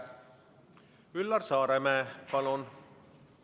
Üllar Saaremäe, palun!